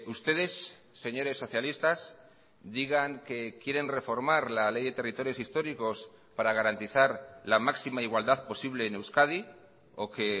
ustedes señores socialistas digan que quieren reformar la ley de territorios históricos para garantizar la máxima igualdad posible en euskadi o que